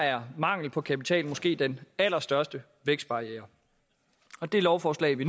er mangel på kapital måske den allerstørste vækstbarriere og det lovforslag vi